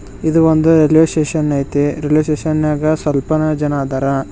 ಇದು ಒಂದು railway station ಐತೆ ರೈಲ್ವೆ ಸ್ಟೇಷನ್ ನಾಗ ಸ್ವಲ್ಪನಾ ಜನ ಅದರ.